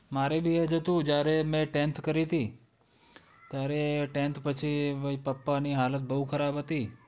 મારે ભી એ જ હતું જ્યારે મેં tenth કરી તી ત્યારે tenth પછી પપ્પાની હાલત બહું ખરાબ હતી.